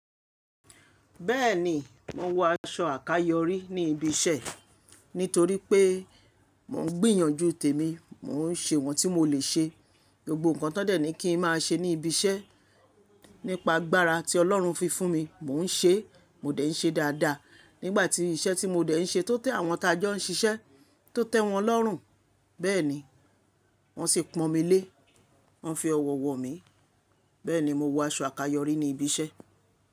Bẹ́ẹ̀ni, mo ń wọ aṣọ àkáyọrí ní ibi iṣẹ́ nítorí pé mò ń gbìyànjú tèmi, mò ń ṣe wọ́n tí mò lè ṣe. BGbogbo nǹkan tó dẹ̀ ni kí ń má ṣe ní ibi iṣẹ́, nípa agbára tí Ọlọ́run fi fún mi, mò ń ṣe, mò dẹ̀ ń ṣe dáadáa. Nígbà tí iṣẹ́ tí mò dẹ̀ ń ṣe tó tẹ́ àwọn tajọ ń ṣiṣẹ́, tó tẹ́ wọn lọ́rùn, bẹ́ẹ̀ni, wọ́n sì pọ̀n mí lé, wọ́n fi ọwọ́ wọ̀ mí. Bẹ́ẹ̀ni, mo wọ aṣọ àkáyọrí ní ibi iṣẹ́.